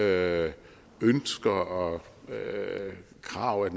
er ønsker og krav af